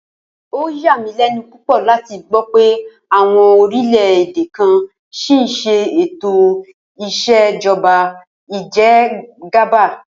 Ó yà mí lé̩nu púpò̩ láti gbó̩ pé àwo̩n orílè̩-èdè kan s̩ì ń s̩e ètò ìs̩èjo̩ba ìje̩gàba